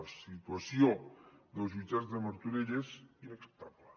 la situació dels jutjats de martorell és inacceptable